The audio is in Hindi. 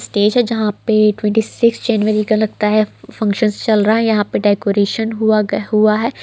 स्टेज है जहाँ पे ट्वेंटी सिक्स जनवरी का लगता है फंक्शन्स चल रहा है यहां पर डेकोरेशन हुआ ग-- हुआ है।